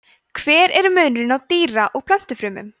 hver er munurinn á dýra og plöntufrumum